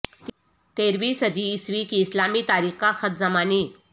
تیرہویں صدی عیسوی کی اسلامی تاریخ کا خط زمانی